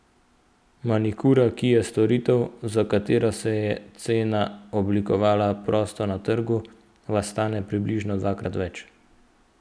Manikura, ki je storitev, za katero se je cena oblikovala prosto na trgu, vas stane približno dvakrat več.